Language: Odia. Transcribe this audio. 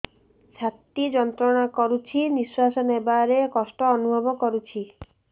ଛାତି ଯନ୍ତ୍ରଣା କରୁଛି ନିଶ୍ୱାସ ନେବାରେ କଷ୍ଟ ଅନୁଭବ କରୁଛି